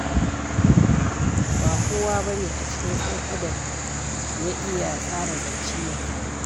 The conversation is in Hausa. Ba kowa ba ne a cikin 'yan'adan ya iya tsara zance mai daɗi.